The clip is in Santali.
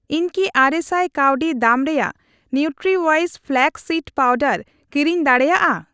ᱤᱧ ᱠᱤ ᱟᱨᱮᱥᱟᱭ ᱠᱟᱣᱰᱤ ᱫᱟᱢ ᱨᱮᱭᱟᱜ ᱱᱤᱣᱴᱨᱤᱣᱤᱥ ᱯᱷᱞᱟᱠᱥ ᱥᱤᱰ ᱯᱟᱣᱰᱟᱨ ᱠᱤᱨᱤᱧ ᱫᱟᱲᱮᱭᱟᱜᱼᱟ ?